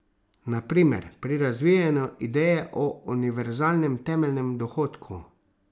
Na primer pri razvijanju ideje o univerzalnem temeljnem dohodku.